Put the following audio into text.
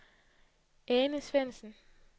Ane Svendsen